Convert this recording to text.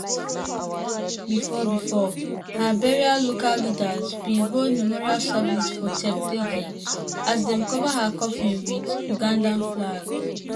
before before her burial local leaders bin hold memorial service for cheptegei as dem cover her coffin wit ugandan flag.